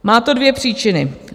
Má to dvě příčiny.